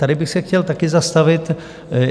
Tady bych se chtěl taky zastavit.